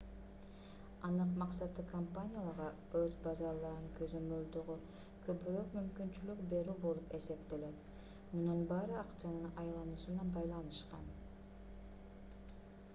анык максаты компанияларга өз базарларын көзөмөлдөгө көбүрөөк мүмкүнчүлүк берүү болуп эсептелет мунун баары акчанын айлануусуна байланышкан